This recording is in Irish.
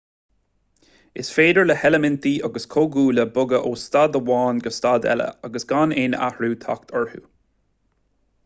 is féidir le heilimintí agus comhdhúile bogadh ó staid amháin go staid eile agus gan aon athrú teacht orthu